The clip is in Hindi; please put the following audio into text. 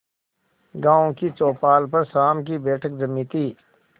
गांव की चौपाल पर शाम की बैठक जमी थी